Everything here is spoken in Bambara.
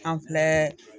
An filɛ